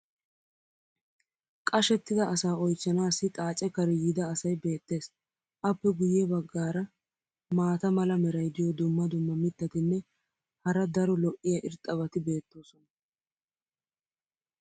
qashettida asaa oychchanaassi xaace kare yiida asay beetees. Appe guye bagaara maata mala meray diyo dumma dumma mitatinne hara daro lo'iya irxxabati beetoosona.